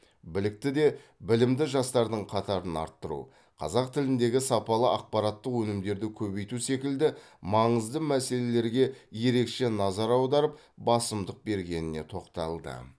білікті де білімді жастардың қатарын арттыру қазақ тіліндегі сапалы ақпараттық өнімдерді көбейту секілді маңызды мәселелерге ерекше назар аударып басымдық бергеніне тоқталды